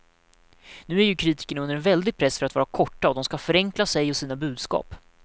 Nu är ju kritikerna under en väldig press för att vara korta och de skall förenkla sig och sina budskap.